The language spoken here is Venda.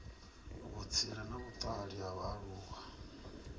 vhutsila na vhutali ha vhaaluwa